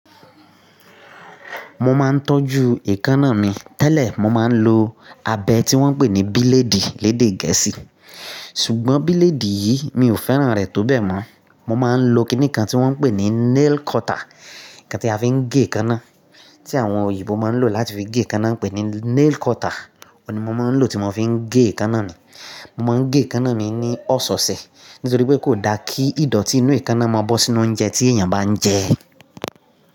Mo máa ń tọ́jú èékánná mi. Tẹ́lẹ̀ mo máa ń lo abẹ tí wọ́n ń pè ní bíléèdì lédè Gẹ̀ẹ́sì. Ṣùgbọ́n bíléèdì yìí mi ò fẹ́ràn rẹ̀ tó bẹ́ẹ̀ mọ́. Mo máa ń lo kiní kan tí wọ́n ń pè ní nail cutter, nǹkan tí a fi ń gé èékánná, tí àwọn òyìnbó máa ń lò láti fi gé èékánná, pé ní nail cutter. Ó ni mo máa ń lò tí mo bá fi ń gé èékánná mi. Mo máa ń gé èékánná mi ní ọ̀sẹ̀ẹ̀sẹ̀ nítorí pé kò da kí ìdọ̀tí inú èékánná máa bọ́ sínú oúnjẹ tí èèyàn bá ń jẹ.